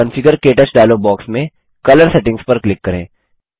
configure - क्टच dialog box में colour settings पर क्लिक करें